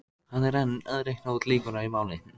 Segðu það ekki, því það væri ekki satt.